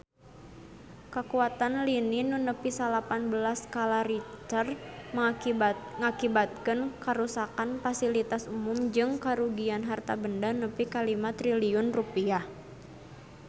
Kakuatan lini nu nepi salapan belas skala Richter ngakibatkeun karuksakan pasilitas umum jeung karugian harta banda nepi ka 5 triliun rupiah